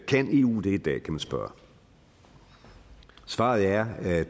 kan eu det i dag kan man spørge svaret er at